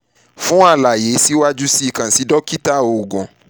fun alaye siwaju sii kan si dokita oogun